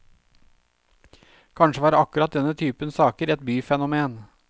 Kanskje var akkurat denne typen saker et byfenomen.